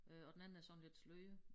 Øh og den anden er sådan lidt sløret